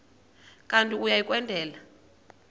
kanti uia kwendela